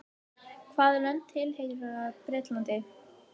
hvaða lönd tilheyra bretlandi